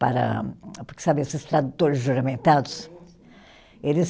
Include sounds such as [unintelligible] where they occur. Para, porque, sabe esses tradutores juramentados? [unintelligible] Eles